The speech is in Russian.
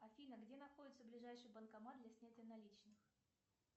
афина где находится ближайший банкомат для снятия наличных